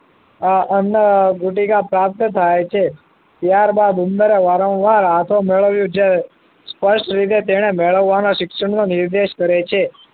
અ અન્ન ગુટિકા પ્રાપ્ત થાય છે ત્યાર બાદ ઉંદર વારંવાર હાથો મેળવ્યું છે સ્પષ્ટ રીતે તેને મેળવવા ના શિક્ષણ નો નિર્દેશ કરે છે